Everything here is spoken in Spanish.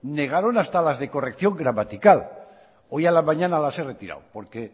negaron hasta las de corrección gramatical hoy a la mañana las he retirado porque he